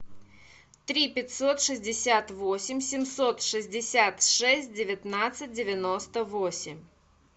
три пятьсот шестьдесят восемь семьсот шестьдесят шесть девятнадцать девяносто восемь